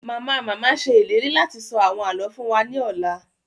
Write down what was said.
Mama-mama ṣe ìlérí láti sọ àwọn àlọ fún wa ni ọla